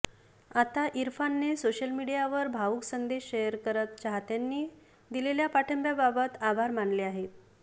आता इरफानने सोशल मीडियावर भावूक संदेश शेअऱ करत चाहत्यांनी दिलेल्या पाठिंब्याबाबत आभार मानले आहेत